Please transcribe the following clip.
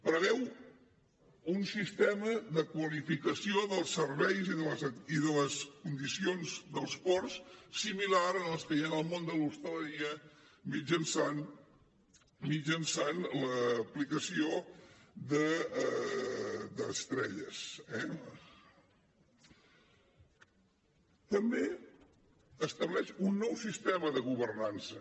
preveu un sistema de qualificació dels serveis i de les condicions dels ports similar a les que hi ha en el món de l’hostaleria mitjançant l’aplicació d’estrelles eh també estableix un nou sistema de governança